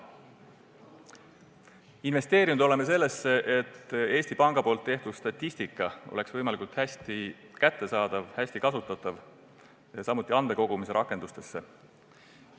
Oleme investeerinud sellesse, et Eesti Panga tehtud statistika oleks võimalikult hästi kättesaadav ja hästi kasutatav, samuti oleme investeerinud andmete kogumise rakendustesse.